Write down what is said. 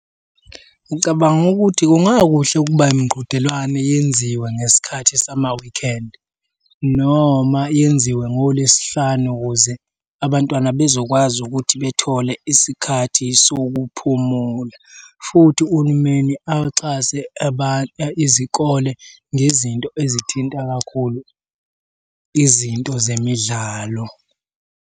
Ngicabanga ukuthi kungakuhle ukuba imiqhudelwane yenziwe ngesikhathi sama-weekend noma yenziwe ngoLwesihlanu ukuze abantwana bezokwazi ukuthi bethole isikhathi sokuphumula, futhi uhulumeni axhase izikole ngezinto ezithinta kakhulu izinto zemidlalo.